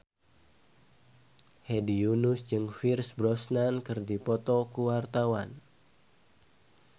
Hedi Yunus jeung Pierce Brosnan keur dipoto ku wartawan